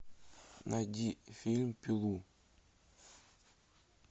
найди фильм пилу